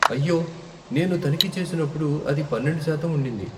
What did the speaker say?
అయ్యో, నేను తనిఖీ చేసినప్పుడు అది పన్నెండు శాతం ఉండింది.